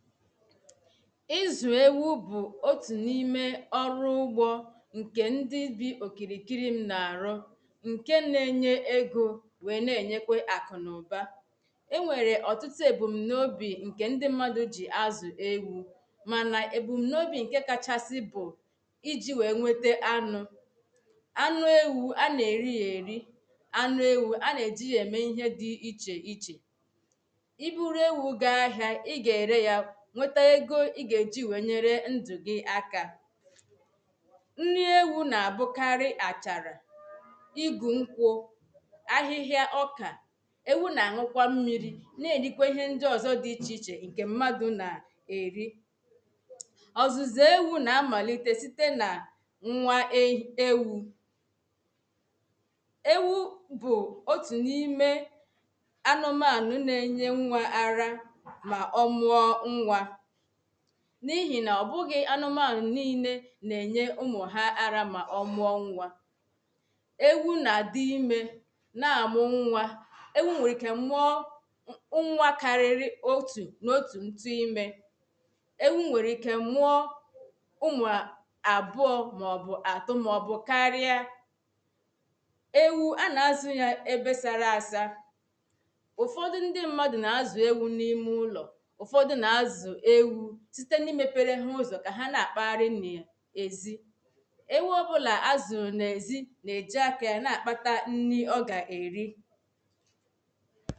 ịzụ̀ ewu bụ̀ otù n’ime ọrụ ụgbọ̄ ǹkè ndị bi òkìrìkiri m nà-àrụ ǹke na-enye egō wèe na-ènyekwe àkụ nà ụ̀ba enwèrè ọ̀tụtụ èbùm̀naobì ndị mmadụ̄ gị azụ̀ ewū mànà èbùmnaobī ǹke kachasị bụ̀ ijī wèe nwete anụ̄ anụ ewū anà-èri yā èri anụ ewū a nà-èji yā ème ihe dị̄ ichè ichè i buru ewū gaa ahị̄ā ị gā-ēre yā nwete ego ị gà-eji wèe nyere ndụ̀ gị akā nnị ewū na-ābụkarị àchàrà igu nkwụ̄ ahịhịa ọkà ewu nà-àn̄ụkwa ḿmīrī na-èrikwe ihe ndị ọ̀zọ dị̄ ichè ichè ǹkè m̀madụ̄ nà-èri ọ̀zụ̀zụ̀ ewū nà-amàlite site nà nwa ei ewū ewu bụ̀ otù n’ime anụmànụ na-enye nwā ara mà ọ mụọ ǹwā n’ihì nà ọ̀ bụghị̄ anụmànụ̀ niīlē nà-ènye ụmụ̀ ha ara ̄mà ọ mụọ nwā ewu nà-àdị ímē na-àmụ nwā ewu nwèrè ike mụọ nwa kariri otù n’otù ǹtụ imē ewu nwèrè ike mụọ ụmụ̀ àbụọ̄ màọ̀bụ̀ àtọ màọ̀bụ̀ karịa ewu a nà-azụ̄ ya ebe sara asa ụ̀fọdụ ndị mmadụ̀ nà-azụ̀ ewū n’ime ụlọ̀ ụ̀fọdụ nà-azụ̀ ewū site n’imēpērē ha ụzọ̀ kà ha na-àkpaharị n’ezí ewu ọbụlà azụ̀rụ̀ n’èzi nà-èji akā ya na-àkpata nrị ọ gà-èri